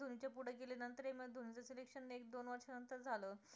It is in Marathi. शांत झालं